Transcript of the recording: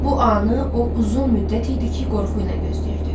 Bu anı o uzun müddət idi ki, qorxu ilə gözləyirdi.